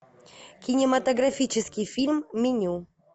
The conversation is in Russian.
кинематографический фильм меню